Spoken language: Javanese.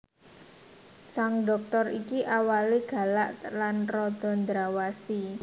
Sang Dhoktor iki awalé galak lan rada ndrawasi